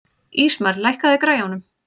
Ísmar, lækkaðu í græjunum.